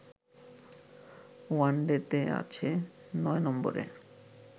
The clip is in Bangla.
ওয়ানডেতে আছে ৯ নম্বরে